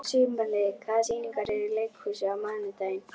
Sumarliði, hvaða sýningar eru í leikhúsinu á mánudaginn?